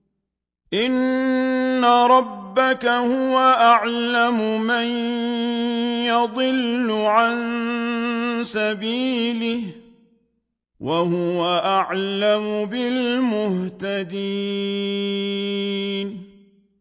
إِنَّ رَبَّكَ هُوَ أَعْلَمُ مَن يَضِلُّ عَن سَبِيلِهِ ۖ وَهُوَ أَعْلَمُ بِالْمُهْتَدِينَ